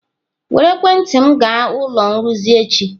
Were ekwentị m gaa ụlọ nrụzi echi!